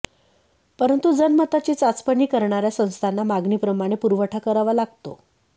परंतु जनमताची चाचपणी करणाऱ्या संस्थांना मागणीप्रमाणे पुरवठा करावा लागतो